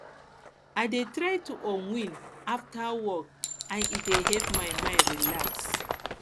i dey try to unwind after work and e dey help my mind relax